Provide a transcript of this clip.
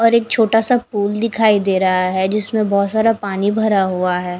और एक छोटा सा पूल दिखाई दे रहा है जिसमे बोहोत सारा पानी भरा हुआ है।